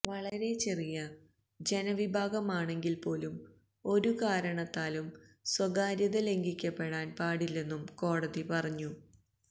വളരെചെറിയ ജനവിഭാഗമാണെങ്കില് പോലും ഒരു കാരണത്താലും സ്വകാര്യത ലംഘിക്കപ്പെടാന് പാടില്ലെന്നും കോടതി പറഞ്ഞു